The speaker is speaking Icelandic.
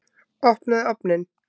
Opnaðu ofninn!